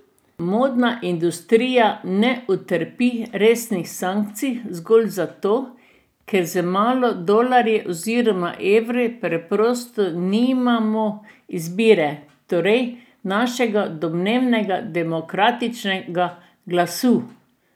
Modna industrija ne utrpi resnih sankcij zgolj zato, ker z malo dolarji oziroma evri preprosto nimamo izbire, torej našega domnevnega demokratičnega glasu.